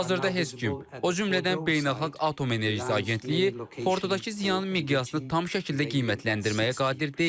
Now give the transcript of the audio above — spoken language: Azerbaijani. Hazırda heç kim, o cümlədən Beynəlxalq Atom Enerjisi Agentliyi Fordodakı ziyanın miqyasını tam şəkildə qiymətləndirməyə qadir deyil.